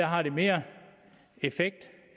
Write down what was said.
har mere effekt